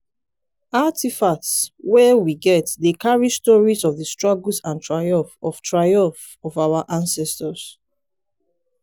artifacts wey we get dey carry stories of di struggles and triumphs of triumphs of our ancestors.